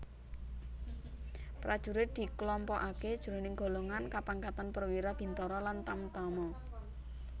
Prajurit diklompokaké jroning golongan kapangkatan perwira bintara lan tamtama